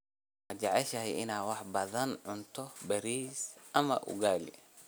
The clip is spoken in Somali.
Ma jeceshahay inaad wax badan cunto bariis ama ugali?